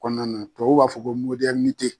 kɔnɔna na tubabuw b'a fɔ ko